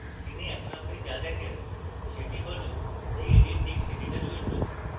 screen এখন আপনি যা দেখেন সেটি হল gedit text editor window